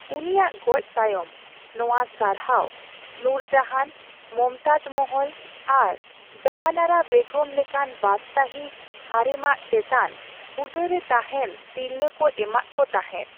ᱩᱱᱤᱭᱟᱜ ᱜᱚᱡ ᱛᱟᱭᱚᱢ, ᱱᱚᱣᱟ ᱥᱟᱨᱦᱟᱣ ᱱᱩᱨᱡᱟᱦᱟᱱ, ᱢᱚᱢᱛᱟᱡ ᱢᱚᱦᱚᱞ ᱟᱨ ᱡᱟᱦᱟᱱᱟᱨᱟ ᱵᱮᱜᱚᱢ ᱞᱮᱠᱟᱱ ᱵᱟᱫᱥᱟᱦᱤ ᱦᱟᱨᱮᱢᱟᱜ ᱪᱮᱛᱟᱱ ᱦᱩᱫᱟᱹ ᱨᱮ ᱛᱟᱦᱮᱸᱱ ᱛᱤᱨᱞᱟᱹᱠᱚ ᱠᱚ ᱮᱢᱟᱜᱠᱚ ᱛᱟᱦᱮᱸᱫ ᱾